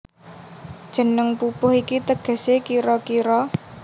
Jeneng pupuh iki tegesé kira kira